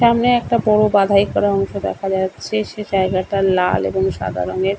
সামনে একটা বড় বাঁধাই করা অংশ দেখা যাচ্ছে সে জায়গাটা লাল এবং সাদা রঙের।